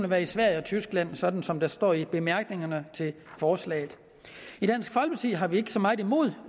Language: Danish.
være i sverige og tyskland sådan som der står i bemærkningerne til forslaget i dansk folkeparti har vi ikke så meget imod